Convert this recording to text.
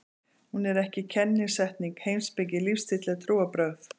Hún er ekki kennisetning, heimspeki, lífstíll eða trúarbrögð.